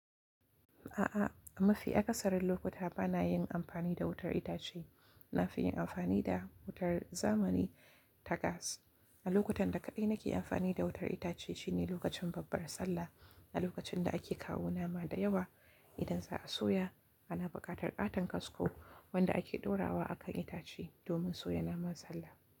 A'a, mafi akasarin lokuta ba na yin amfani da wutar itace. Na fi yin amfani da wutar zamani ta gas. A lokutan da kaɗai nake amfani da wutar itace shine lokacin babbar Sallah, a lokacin da ake kawo nama da yawa idan za a soya. Ana buƙatar ƙaton kasko wanda ake ɗora wa a kan itace domin soya naman Sallah.